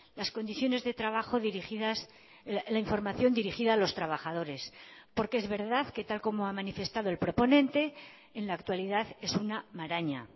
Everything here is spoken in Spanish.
las condiciones de trabajo dirigidas la información dirigida a los trabajadores porque es verdad que tal como ha manifestado el proponente en la actualidad es una maraña